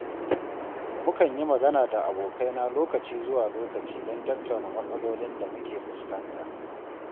Mukan yi magana da abokai na lokaci zuwa lokaci don tattauna matsalolin da muke fuskanta.